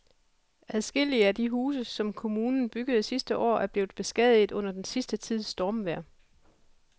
Adskillige af de huse, som kommunen byggede sidste år, er blevet beskadiget under den sidste tids stormvejr.